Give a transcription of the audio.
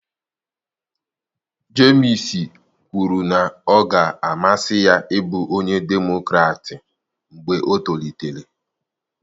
Jemisi kwuru na ọ ga-amasị ya ịbụ onye Demokratị mgbe o tolitere